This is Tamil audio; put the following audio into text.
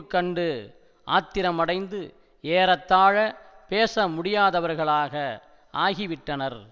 கண்டு ஆத்திரமடைந்து ஏறத்தாழ பேச முடியாதவர்களாக ஆகிவிட்டனர்